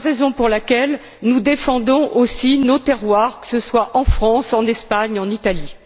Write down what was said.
C'est la raison pour laquelle nous défendons aussi nos terroirs, que cela soit en France, en Espagne ou en Italie.